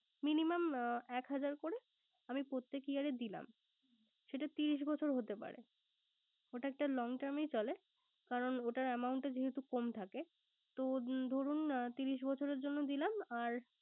Minimum এক হাজার করে আমি প্রত্যেক year এ দিলাম। সেটা ত্রিশ বছর হতে পারে। ওটা একটা long term এ চলে কারন ওটার amount টা যেহেতু কম থাকে। তো ধরুন ত্রিশ বছরের জন্য দিলাম। আর